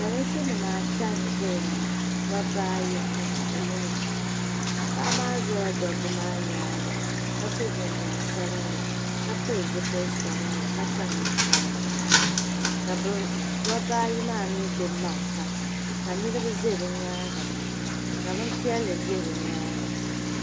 Pɔlinsi nim ata n zaya ŋɔ dabba ayi ni paɣa yino paɣa maa zala dabba maa nyaaŋa ka so jinjɛm sabinli ka pili zipili sabinli ka kpa ninkpara ka dabba ayi maa mii gbubi marafa ka niriba za bɛ nyaaŋa ka bɛni piɛlli za bɛ nyaaŋa.